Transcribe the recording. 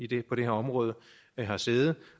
det her område har sæde